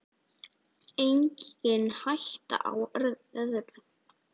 Engin hætta á öðru!